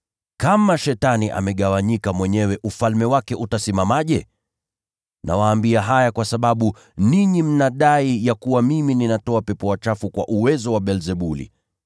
Kama Shetani amegawanyika mwenyewe, ufalme wake utasimamaje? Nawaambia haya kwa sababu ninyi mnadai ya kuwa mimi ninatoa pepo wachafu kwa uwezo wa Beelzebuli.